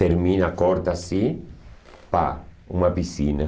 Termina, acorda assim, pá, uma piscina.